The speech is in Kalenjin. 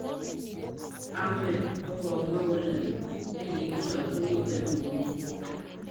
Ahmed kokomwa kole chekokisor komiten komie.